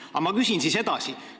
Aga ma küsin siis edasi.